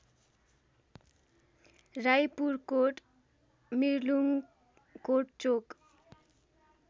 Raipurkot Mirlungkot Chowk